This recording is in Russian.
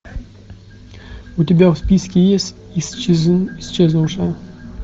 у тебя в списке есть исчезнувшая